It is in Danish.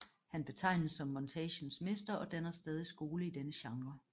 Han betegnes som montagens mester og danner stadig skole i denne genre